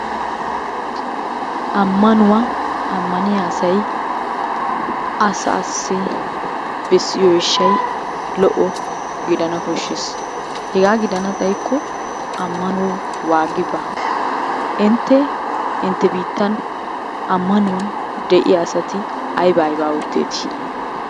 Ammanuwa ammaniya asayi asaassi bessiyo eeshshayi lo'o gidana koshshes. Hegaa gidana xayikko waagi baa. Intte intte biittan ammanuwan de'iya asati aybaa aybaa ootteetii?